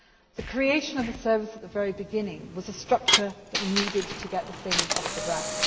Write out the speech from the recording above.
level posts. The creation of the service at the very beginning was a structure that we needed to get the thing off